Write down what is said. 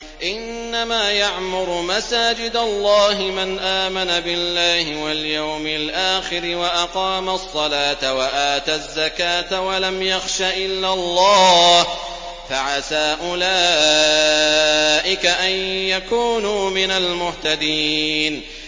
إِنَّمَا يَعْمُرُ مَسَاجِدَ اللَّهِ مَنْ آمَنَ بِاللَّهِ وَالْيَوْمِ الْآخِرِ وَأَقَامَ الصَّلَاةَ وَآتَى الزَّكَاةَ وَلَمْ يَخْشَ إِلَّا اللَّهَ ۖ فَعَسَىٰ أُولَٰئِكَ أَن يَكُونُوا مِنَ الْمُهْتَدِينَ